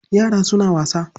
Yara suna wasa.